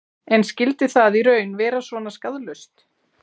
En skyldi það í raun vera svona skaðlaust?